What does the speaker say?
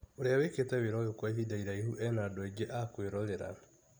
Urĩa wĩkĩte wĩra ũyũ kwa ihinda iraihu ena andũ aingĩ akwĩrorera.